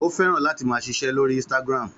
Ó fẹ́ràn láti máa ṣiṣẹ́ lórí Instagram.